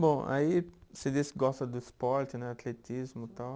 Bom, aí você disse que gosta do esporte né, atletismo tal.